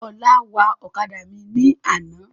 Ọlá wa ọ̀kadà mi ní àná.